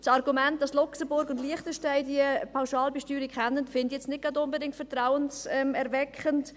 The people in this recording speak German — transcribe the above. Das Argument, dass Luxemburg und Liechtenstein diese Pauschalbesteuerung kennen, finde ich nicht gerade vertrauenserweckend.